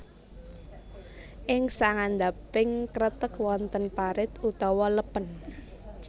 Ing sangandhaping kreteg wonten parit utawi lèpèn